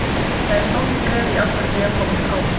Þetta er stórt skref í átt að því að komast áfram.